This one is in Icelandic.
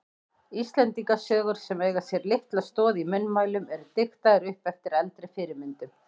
Íslendingasögur sem eiga sér litla stoð í munnmælum eru diktaðar upp eftir eldri fyrirmyndum.